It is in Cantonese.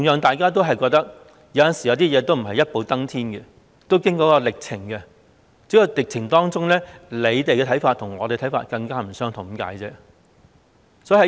大家都認同有些事不能一步登天，要經過一些歷程，只不過在歷程當中，政府的看法與我們的看法不相同而已。